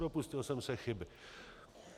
Dopustil jsem se chyby.